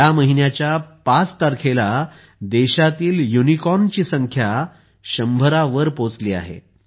या महिन्याच्या 5 तारखेला देशातील युनिकॉर्नची संख्या 100 वर पोहोचली आहे